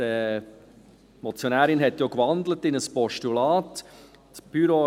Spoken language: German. Die Motionärin hat ja in ein Postulat gewandelt.